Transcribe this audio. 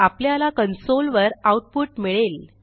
आपल्याला कन्सोल वर आऊटपुट मिळेल